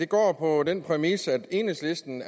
går på den præmis at enhedslisten